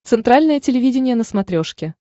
центральное телевидение на смотрешке